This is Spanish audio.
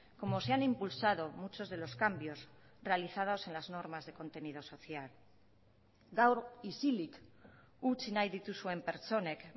como se han impulsado muchos de los cambios realizados en las normas de contenido social gaur isilik utzi nahi dituzuen pertsonek